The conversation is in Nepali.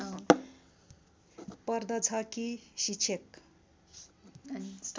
पर्दछ कि शिक्षक